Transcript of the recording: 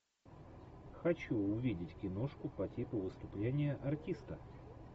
хочу увидеть киношку по типу выступления артиста